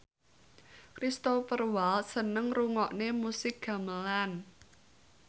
Cristhoper Waltz seneng ngrungokne musik gamelan